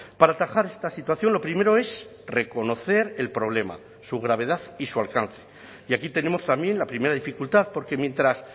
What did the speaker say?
para atajar esta situación lo primero es reconocer el problema su gravedad y su alcance y aquí tenemos también la primera dificultad porque mientras